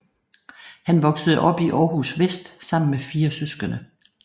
Han voksede op i Aarhus Vest sammen med fire søskende